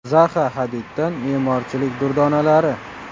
Zaxa Hadiddan me’morchilik durdonalari.